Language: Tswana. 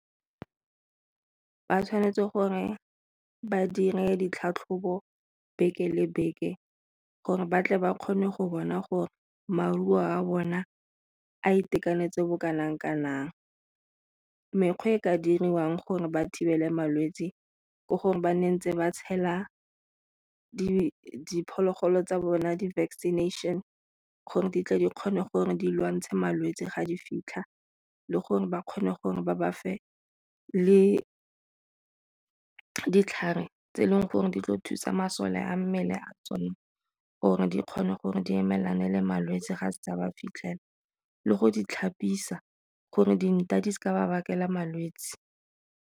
Ba tshwanetse gore badire ditlhatlhobo beke le beke gore batle ba kgone go bona gore maruo a bona a itekanetse bo kanang kanang, mekgwa e ka diriwang gore ba thibelwe malwetse ke gore ba nne ntse ba tshela diphologolo tsa bone di-vaccination gore di tla di kgone gore di lwantshe malwetse ga di fitlha le gore ba kgone gore ba ba fe le ditlhare tse e leng gore di tlo thusa masole a mmele a tsone gore di kgone gore di emelana le malwetse ga setse a ba fitlhela le go di tlhapisiwa gore dintha di seka ba bakela malwetse.